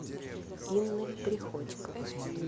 инной приходько